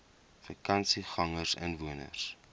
vakansiegangersinwoners